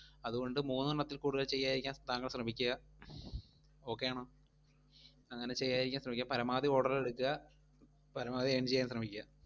അതുകൊണ്ടു മൂന്നെണ്ണത്തിൽ കൂടുതൽ ചെയ്യാതിരിക്കാൻ താങ്കൾ ശ്രമിക്കുക. okay ആണോ? അങ്ങനെ ചെയ്യാതിരിക്കാൻ ശ്രമിക്കുക. പരമാവധി order ഉകൾ എടുക്കുക, പരമാവധി earn ചെയ്യാൻ ശ്രമിക്കുക.